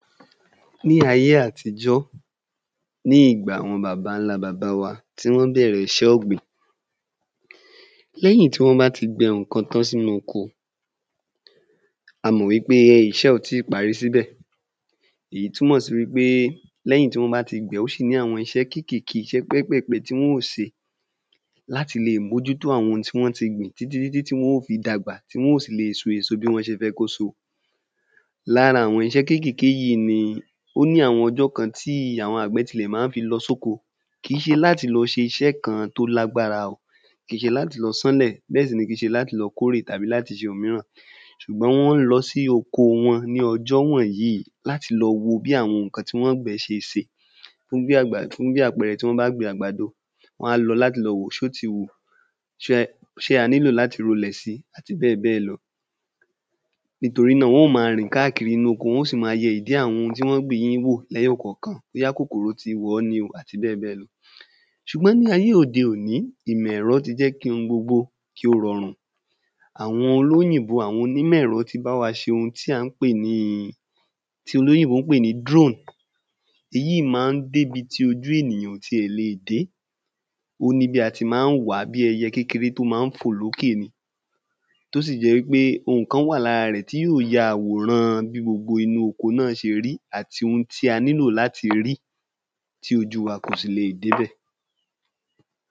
Ní ayé àtijọ́ ní ìgbà àwọn babańlá baba wa tí wọn bẹ̀rẹ̀ iṣẹ́ ọ̀gbìn lẹ́yìn ìgbà tí wọ́n bá ti gbìn ǹkan tán sínú oko a mọ̀ wí pé iṣẹ́ ò tí parí tán sí bẹ̀ èyí túmọ̀ sí wí pé lẹ́yìn tí wọ́n bá ti gbìn ó ṣì ní àwọn iṣẹ́ kékèké iṣẹ́ pẹ́pẹ̀pẹ́ tí ó se láti le è mójútó àwọn ohun tí wọ́n ti gbìn títítí ti wọ́n ó fi dagbà ti wọ́n ó sì le è so èso bí wọ́n ṣe fẹ́ kó so lára àwọn iṣẹ kékèké yí ni ó ní àwọn ọjọ́ kan tí àwọn àgbẹ̀ tilẹ̀ má ń lo sóko kìí ṣe láti lọ ṣe iṣẹ kan tó lágbára o kìí ṣe láti lọ sánlẹ̀ bẹ́ẹ̀ sì ni kìí ṣe láti lọ kórè oko tàbí láti lọ ṣe ohun míràn ṣùgbọ́n wọ́n lọ sí oko wọn ní ọjọ́ wọ̀nyí láti lọ wo bi àwọn ǹkan tí wọ́n gbẹ̀n ṣe se fún bí àpẹẹrẹ tí wọn bá gbin àgbàdo wọ́n á lọ láti lọ wòó ṣé ó ti wù ṣé a nílò láti rolẹ̀ si àti bẹ́ẹ̀ bẹ́ẹ̀ lọ nítorí náà wọ́n ó ma rìn káàkiri inú oko wọ́n ó sì ma yẹ ìdí àwọn ohun tí wọ́n gbìn yí wu lẹ́yọ̀ kọ̀kan bóyá kòkòrò ti wọ̀ọ́ ni o àti bẹ́ẹ̀ bẹ́ẹ̀ lọ ṣùgbọ́n ní ayé òde òní ìmọ̀ ẹ̀rọ ti jẹ́ kí ohun gbogbo kí ó rọrùn àwọn onímọ̀ ẹ̀rọ ti bá wa ṣe ohun tí à ń pè ní tí olóyìnbó ń pè ní ‘drone’ èyí má ń débi tí ojú ènìyàn ò ti le ẹ̀ dé ó ní bí a ti má ń wàá bí ẹyẹ kékeré tí ó má ń fọ̀ ló kè tó sì jẹ́ wí pé ohun kan wà lára rẹ̀ tí ó ja àwòran bí gbogbo inú oko náà ṣe ri àti ohun tí a nílò láti rí tí ojú wa kò sì le è dé bẹ̀